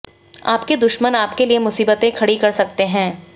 आपके दुश्मन आपके लिए मुसीबतें खड़ी कर सकते हैं